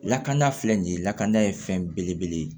Lakana filɛ nin ye lakana ye fɛn belebele ye